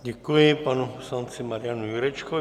Děkuji panu poslanci Marianu Jurečkovi.